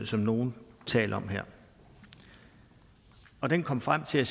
som nogle taler om her og den kom frem til at